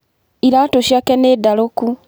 Iratũ cĩake nĩ ndarũku.